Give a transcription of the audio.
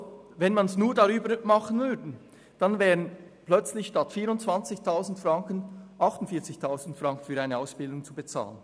Dann müssten für eine Ausbildung plötzlich 48 000 Franken statt 24 000 Franken bezahlt werden.